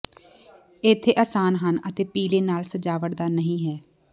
ਇੱਥੇ ਆਸਾਨ ਹਨ ਅਤੇ ਪੀਲੇ ਨਾਲ ਸਜਾਵਟ ਦਾ ਨਹੀਂ ਹੈ